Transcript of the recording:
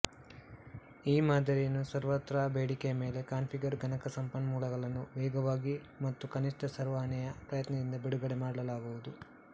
ಈ ಮಾದರಿಯನ್ನು ಸರ್ವತ್ರ ಬೇಡಿಕೆಯ ಮೇಲೆ ಕಾನ್ಪಿಗರ್ ಗಣಕ ಸಂಪನ್ಮೂಲಗಳನ್ನು ವೇಗವಾಗಿ ಮತ್ತು ಕನಿಷ್ಥ ಸರ್ವಹಣೆಯ ಪ್ರಯತ್ನದಿಂದ ಬಿಡುಗಡೆ ಮಾಡಲಾಗುವುದು